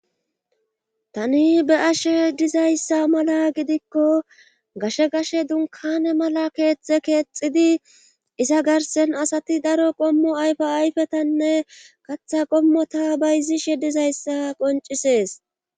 Tati be'ashe dizayssa mala gidikko gashe gashe dunkane mala keexxhe keexidi iza garsen asati daro qommo ayfe ayfetanne katha qommota bayzishe dizayssa qoncisees.